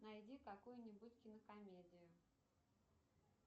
найди какую нибудь кинокомедию